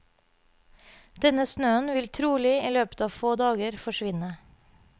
Denne snøen vil trolig i løpet av få dager forsvinne.